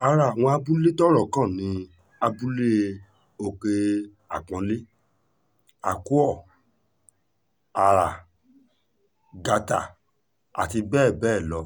lára àwọn abúlé tọ́rọ̀ kàn ni abúlé òkè-àpọ́nlé àkúọ ara gátà àti bẹ́ẹ̀ bẹ́ẹ̀ lọ